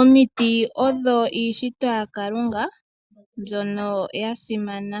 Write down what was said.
Omiti odho iishitwa ya Kalunga mbyono ya simana.